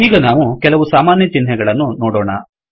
ಈಗ ನಾವು ಕೆಲವು ಸಾಮಾನ್ಯ ಚಿಹ್ನೆಗಳನ್ನು ನೋಡೊಣ